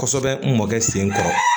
Kosɛbɛ n mɔkɛ sen kɔrɔ